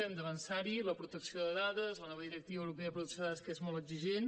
hem d’avançar hi la protecció de dades la nova directiva europea de protecció de dades que és molt exigent